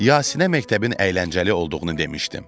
Yasinə məktəbin əyləncəli olduğunu demişdim.